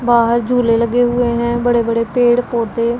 बाहर झूले लगे हुए हैं बड़े बड़े पेड़ पौधे--